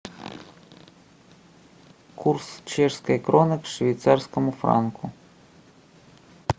курс чешской кроны к швейцарскому франку